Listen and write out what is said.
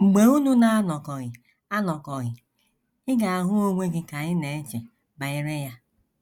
Mgbe unu na - anọkọghị anọkọghị, ị ga - ahụ onwe gị ka ị na - eche banyere ya.